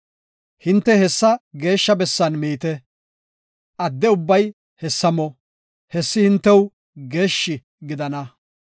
Hinte hessa geeshsha bessan miite; adde ubbay hessa mo; hessi hintew geeshshi gidana.